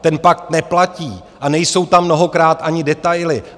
Ten pakt neplatí a nejsou tam mnohokrát ani detaily.